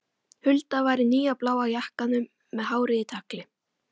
Hulda var í nýja bláa jakkanum með hárið í tagli.